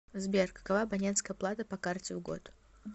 сбер какова абонентская плата по карте в год